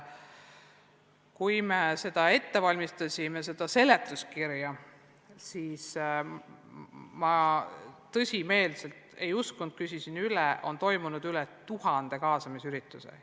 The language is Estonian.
Kui me seda seletuskirja ette valmistasime, siis ma tõsimeeli ei uskunud – küsisin üle –, et on toimund üle tuhande kaasamisürituse.